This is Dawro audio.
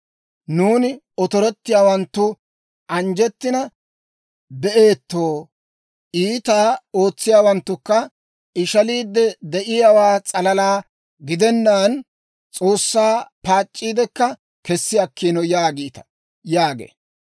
Nuuni otorettiyaawanttu anjjettiina be'eetto; iitaa ootsiyaawanttukka ishaliide de'iyaawaa s'alalaa gidennaan, S'oossaa paac'c'iiddekka kessi akkiino› yaagiita» yaagee.